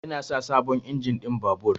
Yana sa sabon injin ɗin babur.